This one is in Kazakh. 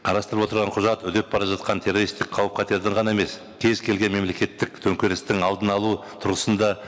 қарастырылып отырған құжат үдеп бара жатқан террористік қауіп қатердің ғана емес кез келген мемлекеттік төнкерістің алдын алу тұрғысында